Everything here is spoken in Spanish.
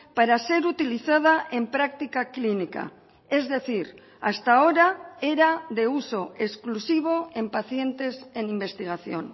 para ser utilizada en práctica clínica es decir hasta ahora era de uso exclusivo en pacientes en investigación